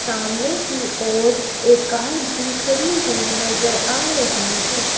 सामने की ओर एक कार भी खड़ी हुई नजर आ रही है।